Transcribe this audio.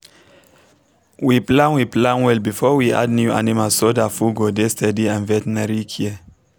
we plan we plan well before we add new animal so that food go dey steady and veterinary care